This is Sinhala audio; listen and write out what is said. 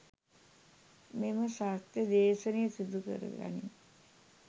මෙම සත්‍ය දේශනය සිදුකර ගනී.